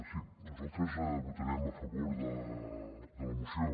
sí nosaltres votarem a favor de la moció